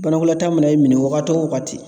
Banakɔtaa mana e minɛ wagati o wagati